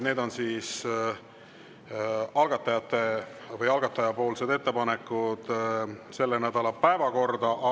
Need on algatajate ettepanekud selle nädala päevakorra kohta.